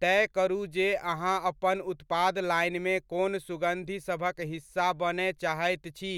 तय करू जे अहाँ अपन उत्पाद लाइनमे कोन सुगंधिसभक हिस्सा बनय चाहैत छी